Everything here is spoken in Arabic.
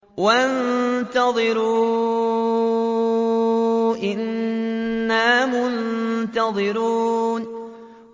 وَانتَظِرُوا إِنَّا مُنتَظِرُونَ